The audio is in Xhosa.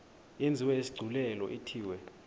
yenziwe isigculelo ithiwe